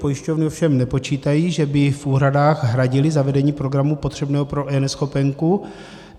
Pojišťovny ovšem nepočítají, že by v úhradách hradily zavedení programu potřebného pro eNeschopenku.